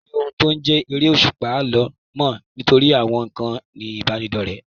Kò sí ohun tó ń jẹ́ eré òṣùpá, àlọ́ mọ́ nítorí àwọn ìkànnì ìbánidọ̀rẹ́